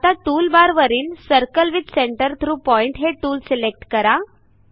आता टूलबारवरील circle with centre through point हे टूल सिलेक्ट करा